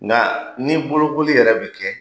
Nka ni boloko*li yɛrɛ bɛ kɛ